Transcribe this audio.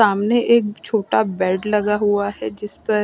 सामने एक छोटा बेड लगा हुआ है जिस पर --